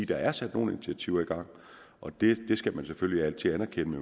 der er sat nogle initiativer i gang og det skal man selvfølgelig altid anerkende